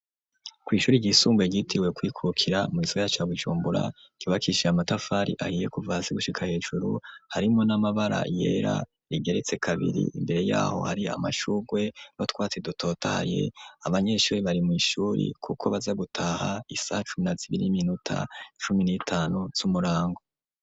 Kw'ishuri ryisumbuye gitiwe kwikokira mw'isgara caboicumbura kibakishiye amatafari ahiye kuvasi gushika hejuru harimo n'amabara yera rigeretse kabiri imbere yaho hari amashurwe no twatsi dutotaye abanyeshuri bari mw'ishuri, kuko baza gutaha isah cumna zibiri'minuta cumi n'etanu ts'umurana ago.